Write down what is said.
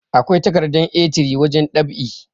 akwai takardar A3 wajen ɗab'i